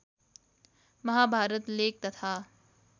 Mahabharat lake तथा